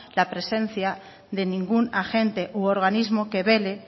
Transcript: la presencia de ningún agente u organismo que vele